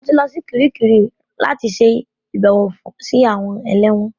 Mo ti lọ sí Kiríkirì rí láti ṣe àbẹ̀wò sí àwọn ẹlẹ́wọ̀n